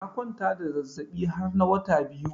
Na kwanta da zazabi har na wata biyu.